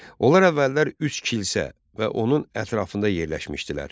Onlar əvvəllər üç kilsə və onun ətrafında yerləşmişdilər.